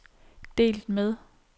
delt med